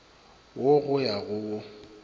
wo go ya go wo